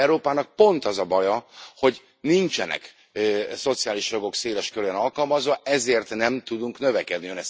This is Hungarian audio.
Európának pont az a baja, hogy nincsenek szociális jogok széles körűen alkalmazva, ezért nem tudunk növekedni.